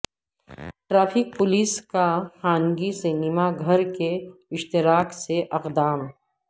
traffic police کا خانگی cinema گھر کے اشتراک سے اقدام